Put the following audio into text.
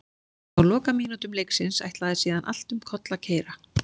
Á lokamínútum leiksins ætlaði síðan allt um koll að keyra.